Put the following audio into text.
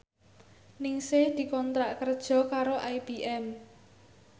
Ningsih dikontrak kerja karo IBM